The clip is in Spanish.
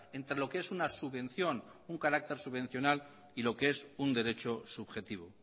entre lo que es una subvención un carácter subvencional y lo que es un derecho subjetivo